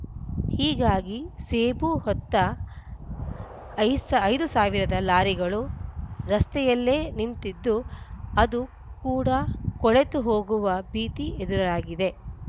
ಹೀಗಾಗಿ ಸೇಬು ಹೊತ್ತ ಐ ಐದು ಸಾವಿರ ಲಾರಿಗಳು ರಸ್ತೆಯಲ್ಲೇ ನಿಂತಿದ್ದು ಅದು ಕೂಡಾ ಕೊಳೆತು ಹೋಗುವ ಭೀತಿ ಎದುರಾಗಿದೆ